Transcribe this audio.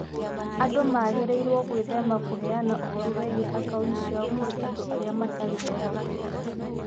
Andũ magĩrĩirũo gwĩthema kũheana ũhoro wĩgiĩ akaũnti ciao kũrĩ andũ matarĩ ehokeku.